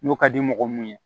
N'o ka di mɔgɔ mun ye